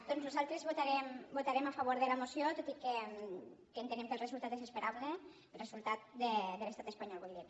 doncs nosaltres votarem a favor de la moció tot i que entenem que el resultat és esperable el resultat de l’estat espanyol vull dir